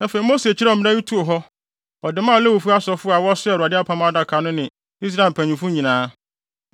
Afei, Mose kyerɛw mmara yi too hɔ; ɔde maa Lewifo asɔfo a wɔsoaa Awurade apam adaka no ne Israel mpanyimfo nyinaa.